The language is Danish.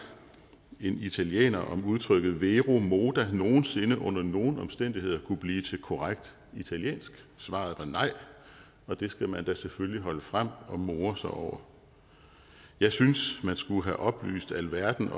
en italiener om udtrykket vero moda nogen sinde under nogen omstændigheder kunne blive til korrekt italiensk svaret var nej og det skal man da selvfølgelig holde frem og more sig over jeg synes at man skulle have oplyst alverden